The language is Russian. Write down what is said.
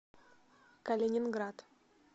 калининград